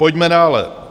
Pojďme dále.